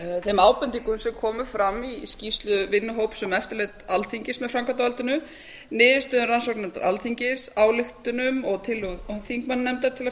þeim ábendingum sem komu fram í skýrslu vinnuhóps um eftirlit alþingis með með framkvæmdarvaldinu niðurstöðum rannsóknarnefndar alþingis ályktunum og tillögum þingmannanefndar til að